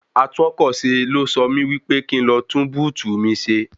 Atúnọkọ̀ṣe ló sọ mí wí pé kí n lọ tún búùtù mi ṣe.